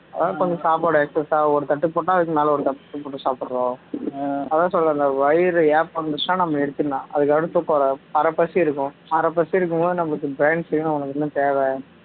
அதான் கொஞ்ச சாப்பாடு excess ஆ ஒரு தட்டு போட்டா அதுக்கு மேல போட்டு சாப்பிடுறோம் அதான் சொல்றேன்ல வயிறு ஏப்பம் வந்துடுச்சுனா நம்ம நிறுத்திடணும் அதுக்கு அடுத்து கொற அரை பசி இருக்கும் அரை பசி இருக்கும் போது நமக்கு brain சொல்லும் உனக்கு இன்னும் தேவை